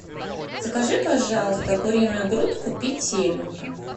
закажи пожалуйста куриную грудку петелинка